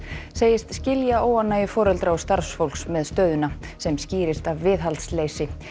segist skilja óánægju foreldra og starfsfólks með stöðuna sem skýrist af viðhaldsleysi